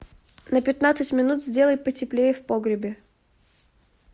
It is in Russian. на пятнадцать минут сделай потеплее в погребе